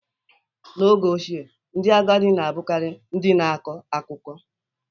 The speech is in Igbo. N'oge ochie, ndị agadi na-abụkarị ndị na-akọ akụkọ.